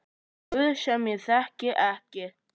Guð sem ég þekki ekki.